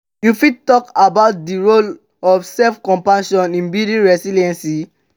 you fit talk about di role of self-compassion in building resilience?